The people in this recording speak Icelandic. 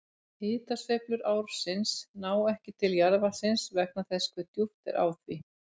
Hitasveiflur ársins ná ekki til jarðvatnsins vegna þess hve djúpt er á því.